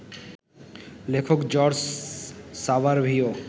লেখক জর্জ সাভারভিও